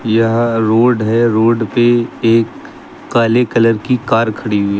यह रोड है रोड पे एक काले कलर की कार खड़ी हुई है।